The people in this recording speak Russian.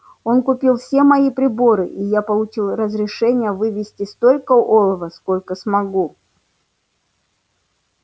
он купил все мои приборы и я получил разрешение вывезти столько олова сколько смогу